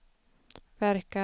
verkar